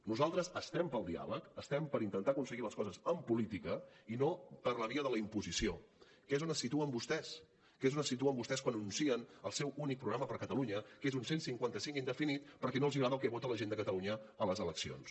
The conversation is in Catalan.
nosaltres estem pel diàleg estem per intentar aconseguir les coses amb política i no per la via de la imposició que és on se situen vostès que és on se situen vostès quan anuncien el seu únic programa per a catalunya que és un cent i cinquanta cinc indefinit perquè no els agrada el que vota la gent de catalunya a les eleccions